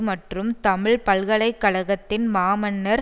மற்றும் தமிழ் பல்கலை கழகத்தின் மாமன்னர்